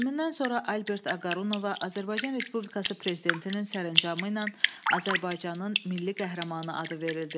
Ölümündən sonra Albert Aqarunovaya Azərbaycan Respublikası Prezidentinin sərəncamı ilə Azərbaycanın Milli Qəhrəmanı adı verildi.